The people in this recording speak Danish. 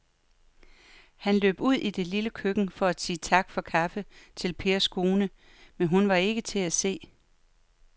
Han løb ud i det lille køkken for at sige tak for kaffe til Pers kone, men hun var ikke til at se.